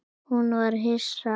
Hún var hissa.